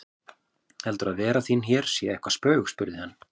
Heldurðu að vera þín hér sé eitthvert spaug spurði hann.